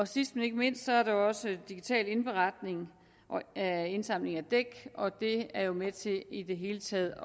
sidst men ikke mindst er der også digital indberetning af indsamling af dæk og det er jo med til i det hele taget